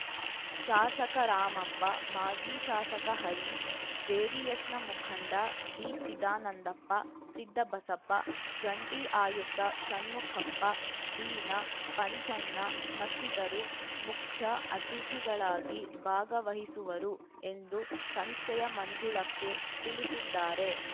ಶಾಸಕ ರಾಮಪ್ಪ ಮಾಜಿ ಶಾಸಕ ಹರೀಶ್‌ ಜೆಡಿಎಸ್‌ನ ಮುಖಂಡ ಬಿಚಿದಾನಂದಪ್ಪ ಸಿದ್ದಬಸಪ್ಪ ಜಂಟಿ ಆಯುಕ್ತ ಷಣ್ಮುಖಪ್ಪ ವೀಣಾ ಪಂಚಣ್ಣ ಮತ್ತಿತರು ಮುಖ್ಯ ಅತಿಥಿಗಳಾಗಿ ಭಾಗವಹಿಸುವರು ಎಂದು ಸಂಸ್ಥೆಯ ಮಂಜುಳಕ್ಕೆ ತಿಳಿಸಿದ್ದಾರೆ